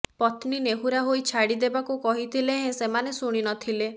ପତ୍ନୀ ନେହୁରା ହୋଇ ଛାଡି ଦେବାକୁ କହିଥିଲେ ହେଁ ସେମାନେ ଶୁଣି ନଥିଲେ